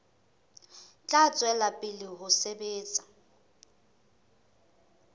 tla tswela pele ho sebetsa